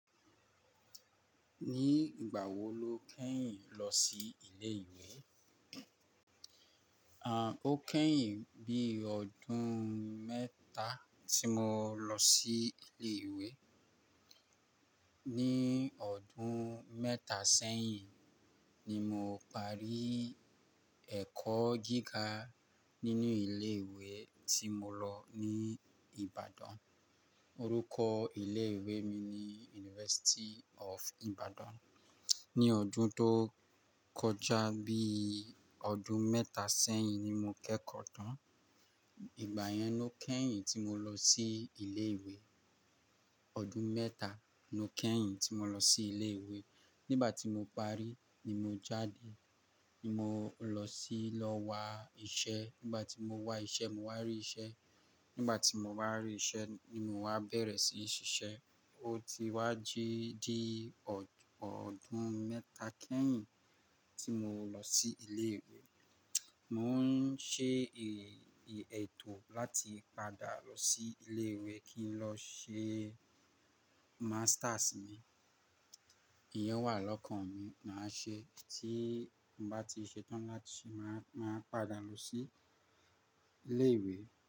Ní ìgbà wo lo kẹ́yìn lọ sí ilé ìwé? À, ó kẹ́yìn bí ọdún mẹ́ta tí mo lọ sí ilé ìwé. Ní ọdún mẹ́ta sẹ́yìn ni mo parí ẹ̀kọ́ gíga nínú ilé ìwé tí mo lọ ní Ibadan. Orúkọ ilé ìwé mi ni University of Ibadan. Ní ọdún tó kọjá bí ọdún mẹ́ta sẹ́yìn ni mo kẹ́kọ̀ọ́ tán. Ìgbà yẹn ló kẹ́yìn tí mo lọ sí ilé ìwé. Ọdún mẹ́ta ló kẹ́yìn tí mo lọ sí ilé ìwé. Nígbà tí mo parí ni mo jáde, ni mo lọ sí lọ wá iṣẹ́. Nígbà tí mo wá iṣẹ́, mo wá rí iṣẹ́. Nígbà tí mo bá rí iṣẹ́ ni mo wá bẹ̀rẹ̀ sí í ṣiṣẹ́. Ó ti wá jíí dí ọdún mẹ́ta kẹ́yìn tí mo lọ sí ilé ìwé. Mo n ṣe ètò láti padà lọ sí ilé ìwé kí n lọ ṣe masters mi. Ìyẹn wà lọ́kàn mi máa ṣe. Tí mo bá ti ṣe tán láti, màá, màá padà lọ sí ilé ìwé.